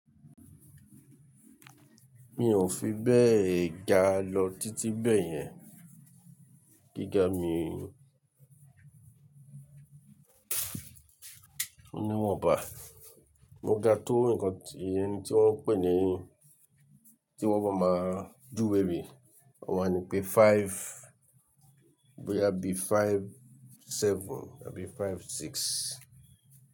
Mi ò fi bẹ́ẹ̀ ga lọ títí bẹ́ẹ̀ yẹn. Gíga mi, mo ní wọn bà, mo ga tó nǹkan tí ẹni tí wọ́n pè ní tí wọ́n bá máa dúró wèrè, wọ́n máa ni pé five, bóyá bí five seven àbí five six.